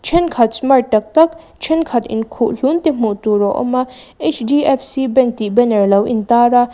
thenkhat smart tak tak thenkhat in khuh hlun te hmuh tur a awm a h d f c bank tih alo in tar a.